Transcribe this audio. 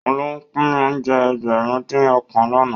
Òun ló pín oúnjẹ Ẹgbẹ̀rin-dín-ọ̀kan lánàá